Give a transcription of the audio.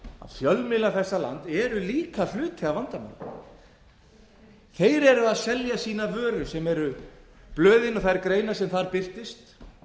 fjölmiðlar þessa lands eru líka hluti af vandamálinu þeir eru að selja sína vöru sem eru blöðin og þær greinar sem þar birtast